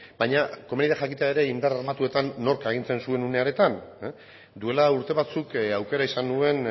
baina komeni da jakitea ere indar armatuetan nork agintzen zuen une horretan duela urte batzuk aukera izan nuen